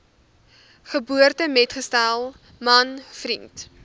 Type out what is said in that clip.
geboortemetgesel man vriend